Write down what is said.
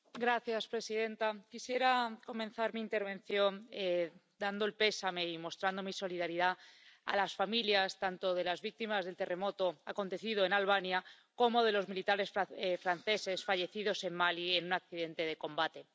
Señora presidenta, quisiera comenzar mi intervención dando el pésame y mostrando mi solidaridad a las familias tanto de las víctimas del terremoto acontecido en Albania, como de los militares franceses fallecidos en Mali, en un accidente de combate.